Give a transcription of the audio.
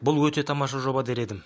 бұл өте тамаша жоба дер едім